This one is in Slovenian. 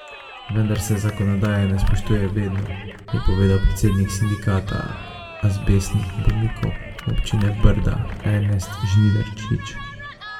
Vendar se zakonodaje ne spoštuje vedno, je povedal predsednik Sindikata azbestnih bolnikov občine Brda Ernest Žnidarčič.